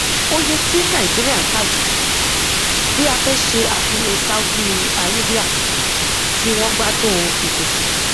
oye tí nàìjíríà n ta jù bí a fẹ ṣe àfiwé saudi arabia tí wọn gbádùn ìpèsè